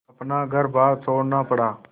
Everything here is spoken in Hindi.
अपना घरबार छोड़ना पड़ा